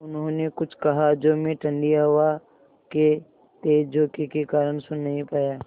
उन्होंने कुछ कहा जो मैं ठण्डी हवा के तेज़ झोंके के कारण सुन नहीं पाया